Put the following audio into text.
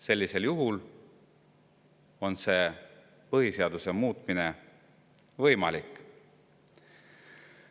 Sellisel juhul on põhiseaduse muutmine võimalik.